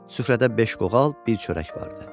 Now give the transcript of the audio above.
Süfrədə beş qoğal, bir çörək vardı.